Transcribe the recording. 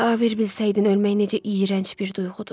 Ah, bir bilsəydin ölmək necə iyrənc bir duyğudur.